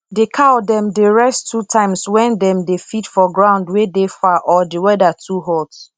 d cow dem dey rest two times wen dem dey feed for ground wey dey far or d weather too hot